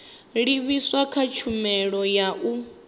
livhiswaho kha tshumelo ya u